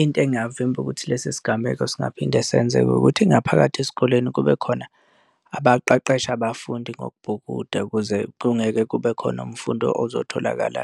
Into engavimba ukuthi lesi sigameko singaphinde senzeke ukuthi ngaphakathi esikoleni kube khona abaqeqesha abafundi ngokubhukuda ukuze kungeke kube khona umfundi ozotholakala